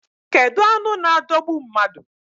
Kedu anụ na adogbu mmadụ?